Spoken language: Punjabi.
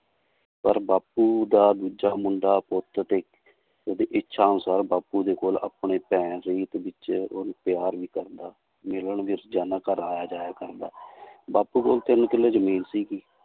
ਪਰ ਬਾਪੂ ਦਾ ਦੂਜਾ ਮੁੰਡਾ ਉਹਦੀ ਇੱਛਾ ਅਨੁਸਾਰ ਬਾਪੂ ਦੇ ਕੋਲ ਆਪਣੇ ਉਹਨੂੰ ਪਿਆਰ ਵੀ ਕਰਦਾ, ਮਿਲਣ ਵੀ ਰੋਜਾਨਾ ਘਰ ਆਇਆ ਜਾਇਆ ਕਰਦਾ ਬਾਪੂ ਕੋਲ ਤਿੰਨ ਕਿੱਲੇ ਜ਼ਮੀਨ ਸੀਗੀ l